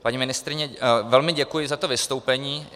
Paní ministryni velmi děkuji za to vystoupení.